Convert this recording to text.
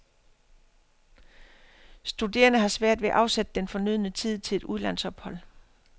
Studerende har svært ved at afsætte den fornødne tid til et udlandsophold.